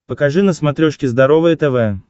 покажи на смотрешке здоровое тв